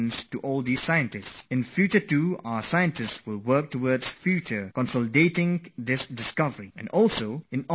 Our scientists will be involved in the future as well to take this discovery forward; India will be a part of future international efforts